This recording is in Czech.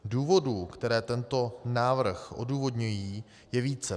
Důvodů, které tento návrh odůvodňují, je více.